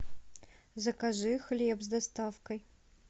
закажи хлеб с доставкой